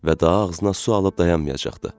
Və daha ağzına su alıb dayanmayacaqdı.